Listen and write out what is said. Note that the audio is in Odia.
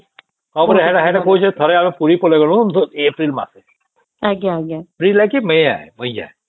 ହଁ ପରା ସେଇଟା କହୁଛି ଥରେ ଆମେ ପୁରୀ ପଳେଇଲୁ ଏପ୍ରିଲ ମାସେ ଏପ୍ରିଲ କି ମେ ହେଇକେ